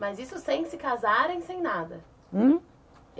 Mas isso sem se casarem, sem nada? Hum?